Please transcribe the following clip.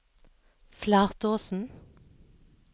Flatåsen